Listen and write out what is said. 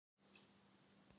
Hann er fínn.